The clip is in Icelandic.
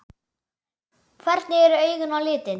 Hvernig eru augun á litinn?